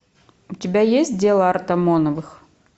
у тебя есть дело артамоновых